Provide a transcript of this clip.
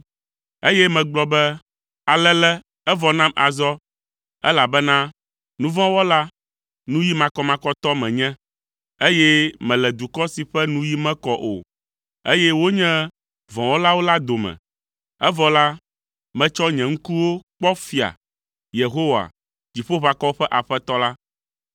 Eye megblɔ be, “Alele! Evɔ nam azɔ, elabena nu vɔ̃ wɔla, nuyi makɔmakɔtɔ menye, eye mele dukɔ si ƒe nuyi mekɔ o, eye wonye vɔ̃wɔlawo la dome; evɔ la, metsɔ nye ŋkuwo kpɔ Fia, Yehowa, Dziƒoʋakɔwo ƒe Aƒetɔ la.”